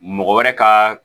Mɔgɔ wɛrɛ ka